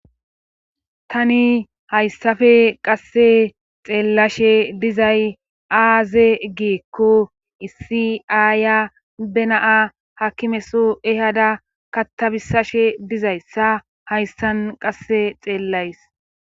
tani hayssappe qasse xeellashe dizay aaze giikko issi aaya benaa hakimeso ehada kattabisashe dizayssa hayssan qasse xeellays